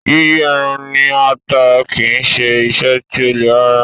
Yíyí ẹran ní ata kì í ṣe iṣẹ́ tí ó le rárá.